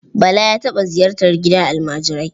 Bala ya taɓa ziyartar gidan almajirai.